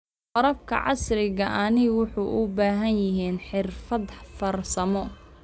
Waraabka casriga ahi wuxuu u baahan yahay xirfado farsamo.